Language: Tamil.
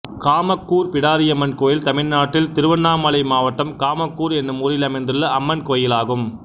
காமக்கூர் பிடாரியம்மன் கோயில் தமிழ்நாட்டில் திருவண்ணாமலை மாவட்டம் காமக்கூர் என்னும் ஊரில் அமைந்துள்ள அம்மன் கோயிலாகும்